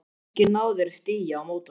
Kannski náðu þeir stigi á móti okkur?